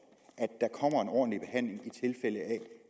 er en ordentlig behandling i tilfælde af